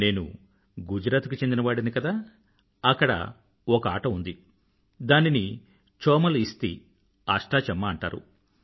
నేను గుజరాత్ కు చెందిన వాడిని కదా అక్కడ ఒక ఆట ఉంది దానిని చోమల్ ఇస్తీ అష్టాచెమ్మా అంటారు